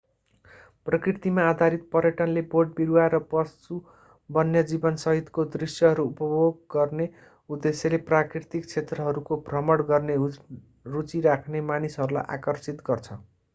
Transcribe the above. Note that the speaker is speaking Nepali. प्रकृतिमा आधारित पर्यटनले बोटबिरुवा र पशु वन्यजीवन सहितको दृश्यहरू उपभोग गर्ने उद्देश्यले प्राकृतिक क्षेत्रहरूको भ्रमण गर्न रुचि राख्ने मानिसहरूलाई आकर्षित गर्छ